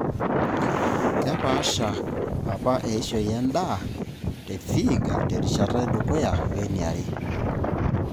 Kepaasha APA eishoi endaa te Vihiga te rishata edukuya weniare.